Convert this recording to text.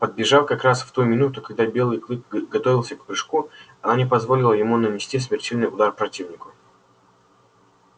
подбежав как раз в ту минуту когда белый клык готовился к прыжку она не позволила ему нанести смертельный удар противнику